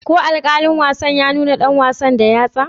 Ko alkalin wasa ya nuna dan wasan da yatsa?